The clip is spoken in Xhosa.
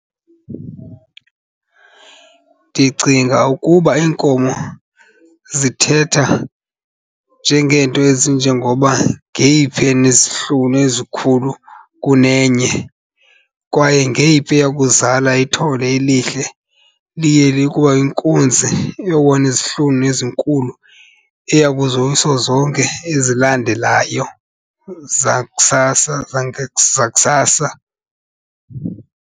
Ndicinga ukuba iinkomo zithetha njengeento ezinjengoba ngeyiphi enezihlunu ezikhulu kunenye kwaye ngeyiphi eyakuzala ithole elihle liye likwayinkunzi izihlunu ezinkulu eyakuzoyisa zonke ezilandelayo zakusasa , zakusasa.